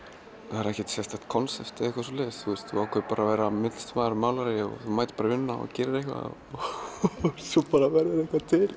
það er ekkert sérstakt konsept eða eitthvað svoleiðis við ákváðum bara að vera myndlistarmaður og málari þú mætir bara í vinnuna og gerir eitthvað og svo bara verður eitthvað til